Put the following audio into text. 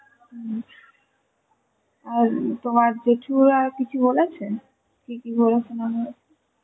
হম, আর তোমার জেঠুরা কিছু বলেছে? কি কি হয়েছে না হয়েছে?